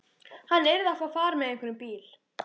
Hann yrði að fá far með einhverjum bíl.